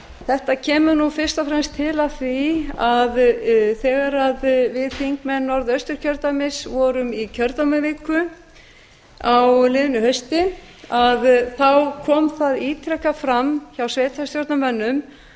þetta kemur fyrst og fremst til af því að þegar við þingmenn norðaustur vorum í kjördæmaviku á liðnu hausti kom það ítrekað fram hjá sveitarstjórnarmönnum